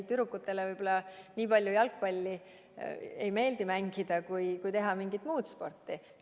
Tüdrukutele võib-olla ei meeldi nii palju jalgpalli mängida, aga nad tahaksid teha mingit muud sporti.